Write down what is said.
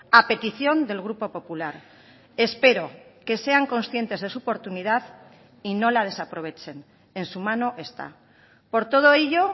a petición del grupo popular espero que sean conscientes de su oportunidad y no la desaprovechen en su mano está por todo ello